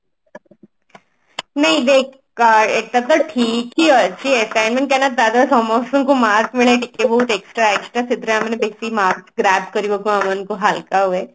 ନାଇଁ ଦେଖ ଏଟା ତ ଠିକ ହିଁ ଅଛି ଏଟା ଏମତି କାହିଁକି ନା ତଦ୍ୱାରା ସମସ୍ତଙ୍କୁ marks ମିଳେ ଟିକେ ବହୁତ extra extra ସେଥିରେ ମାନେ marks grab କରିବାକୁ ଆମମାନଙ୍କୁ ହାଲକା ହୁଏ